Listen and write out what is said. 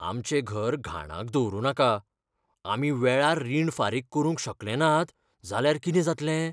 आमचें घर घाणाक दवरुनाका. आमी वेळार रीण फारीक करूंक शकले नात जाल्यार कितें जातलें?